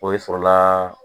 Oyi sɔrɔla